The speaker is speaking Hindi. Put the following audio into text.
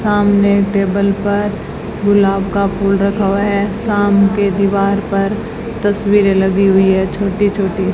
सामने टेबल पर गुलाब का फूल रखा हुआ है साम के दीवार पर तस्वीरें लगी हुई है छोटी छोटी --